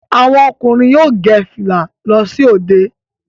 Àwọn ọkùnrin yóò gẹ fìlà lọ sí òde